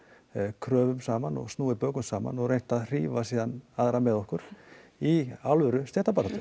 kröfum saman snúið bökum saman og reynt að hrífa síðan aðra með okkur í alvöru stéttabaráttu